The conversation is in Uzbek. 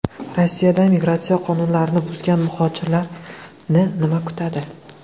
Rossiyada migratsiya qonunlarini buzgan muhojirlarni nima kutadi?